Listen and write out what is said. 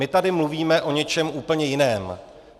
My tady mluvíme o něčem úplně jiném.